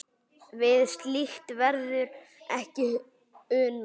Við slíkt verður ekki unað.